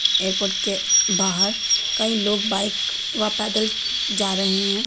Airport के बाहर कई लोग बाइक व पैदल जा रहे हैं।